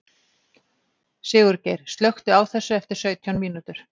Sigurgeir, slökktu á þessu eftir sautján mínútur.